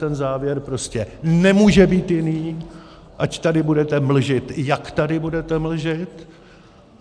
Ten závěr prostě nemůže být jiný, ať tady budete mlžit, jak tady budete mlžit.